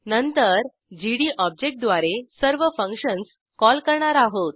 नंतर GD object द्वारे सर्व फंक्शन्स कॉल करणार आहोत